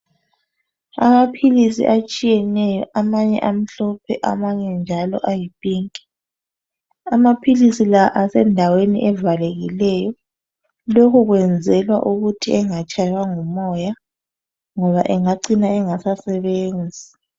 Amaphilisi atshiyeneyo amanye amhlophe amanye njalo ayipink, amaphilisi la asendaweni evalekileyo lokhu kwenzelwa ukuthi engatshaywa ngumoya ngoba engacina engasasebenzi.